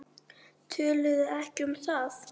Töluðu ekki um það.